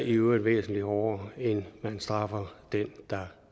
i øvrigt væsentlig hårdere end man straffer den der